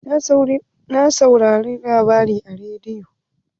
Na saurari labarai a rediyo.